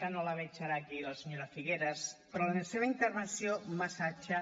ara no la veig aquí la senyora figueras però la seva intervenció massatge